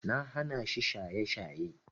Na hanashi shaye-shaye.